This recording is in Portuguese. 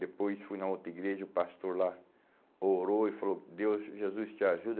Depois fui na outra igreja, o pastor lá orou e falou, Deus, Jesus te ajuda.